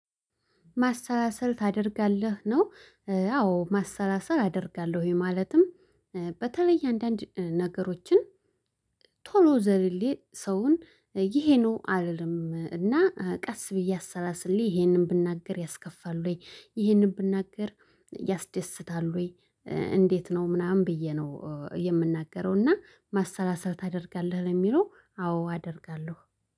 ማሰላሰል ታደርጋለህ? ነው አዎ ማሰላሰል አደርጋለሁ ማለትም በተለይ አንዳንድ ነገሮችን ቶሎ ዘልሌ ሰውን ይሄ ነው አልልም እና ቀስ ብዬ አሰላስሌ ይሄንን ብናገር ያስከፋል ወይ ይሄንን ብናገር ያስደስታል ወይ እንዴት ነው ምናምን ብዬ ነው የምናገረው እና ማሰላሰል ታደርጋለህ ለሚለው አዎ አደርጋለሁ።